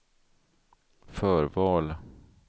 förval